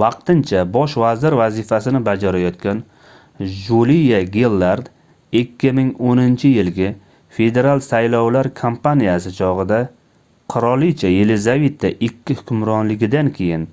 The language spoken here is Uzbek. vaqtincha bosh vazir vazifasini bajarayotgan juliya gillard 2010-yilgi federal saylovlar kampaniyasi chogʻida qirolicha yelizaveta ii hukmronligidan keyin